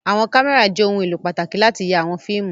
Àwọn kámẹ́rà jẹ́ ohun-èlò pàtàkì láti ya àwọn fíìmù.